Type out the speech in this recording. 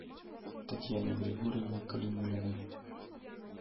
татьяне григорьевне калимуллиной